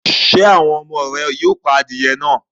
Ṣé àwọn ọmọ rẹ yóò pa adìẹ náà?